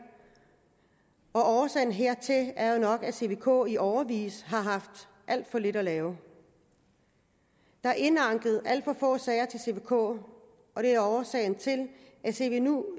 og årsagen hertil er jo nok at cvk i årevis har haft alt for lidt at lave der er indanket alt for få sager til cvk og det er årsagen til at